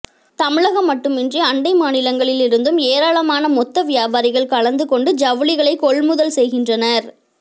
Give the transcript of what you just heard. தமிழகம் மட்டுமின்றி அண்டை மாநிலங்களில் இருந்தும் ஏராளமான மொத்த வியாபாரிகள் கலந்து கொண்டு ஜவுளிகளை கொள்முதல் செய்கின்றனர்